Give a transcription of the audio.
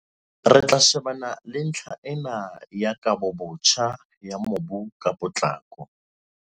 "Re tlo shebana le ntlha ena ya kabobotjha ya mobu ka potlako."